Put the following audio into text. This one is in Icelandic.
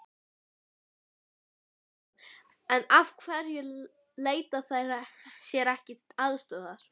Andri Ólafsson: En af hverju leita þær sér ekki aðstoðar?